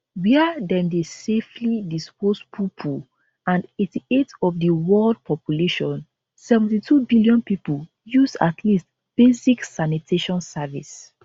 wia dem dey safely dispose poopoo and 88 of di world population 72 billion pipo use at least basic sanitation service